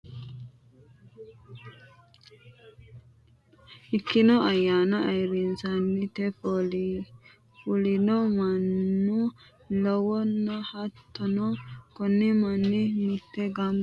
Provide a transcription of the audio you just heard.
Ikkino ayaana ayiirisate fulino manna lawano, hattono koni mani mite jado iilitanokki gede doogote tirafikeenna baxitino woliqa yine woshineemorinni agarantino